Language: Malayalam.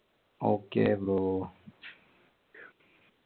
okay bro